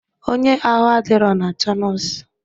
Onye ahụ adirọ na-achọ nọọsụ.